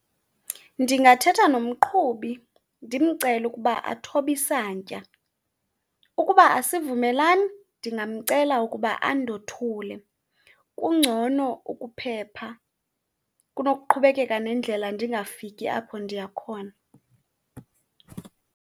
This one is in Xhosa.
Ndingathetha nomqhubi ndimcele ukuba athobe isantya. Ukuba asivumelani ndingamcela ukuba andothule. Kungcono ukuphepha kunokuqhubekeka nendlela ndingafiki apho ndiya khona.